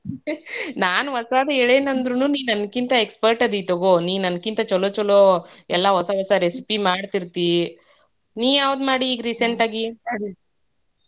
ನಾನ್ ಹೊಸಾದ ಹೇಳೇನಂದ್ರೂ ನೀ ನನ್ಕಿಂತ expert ಅದಿ ತಗೋ ನೀ ನನ್ಕಿಂತ ಛಲೋ ಛಲೋ ಎಲ್ಲಾ ಹೊಸಾ ಹೊಸಾ recipe ಮಾಡ್ತಿರ್ತಿ. ನೀ ಯಾವ್ದ್ ಮಾಡಿ ಈಗ್ recent ಆಗಿ?